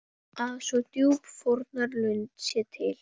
Að svo djúp fórnarlund sé til?